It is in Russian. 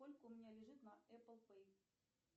сколько у меня лежит на эппл пэй